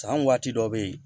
San waati dɔ be yen